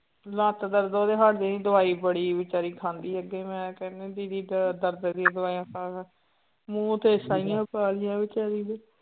ਲੱਤ ਦਰਦ ਉਹਦੇ ਹਾਂਜੀ ਦਵਾਈ ਬੜੀ ਬੇਚਾਰੀ ਖਾਂਦੀ ਅੱਗੇ ਮੈਂ ਕਹਿਨੀ ਦੀਦੀ ਦ ਦਰਦ ਦੀ ਦਵਾਈਆਂ ਖਾਣ, ਮੂੰਹ ਤੇ ਛਾਈਆਂ ਪਾ ਲਈਆਂ ਬੇਚਾਰੀ ਨੇ।